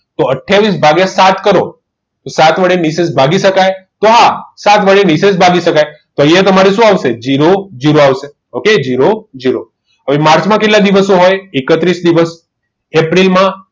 તો આથીયાવીસ ભાગીય સાત કરો તો સાત વડે નિશેષ ભાગી શકાય તો આ સાત વડે ભાગી શકાય અહીંયા તમને શું આવશે zero zero આવશે okay zero zero આવે માર્ચ માં કેટલા દિવસ હોય એકત્રીસ દિવસ એપ્રિલમાં